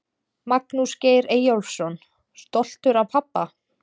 Magnús Geir Eyjólfsson: Stoltur af pabba?